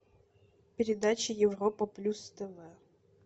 передача европа плюс тв